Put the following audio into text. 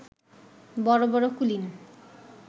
বড় বড় কুলীন